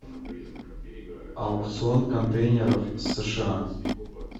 аукцион контейнеров сша